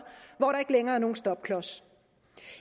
hvor der ikke længere er nogen stopklods